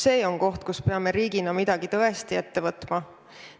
See on koht, kus peame riigina midagi tõesti ette võtma.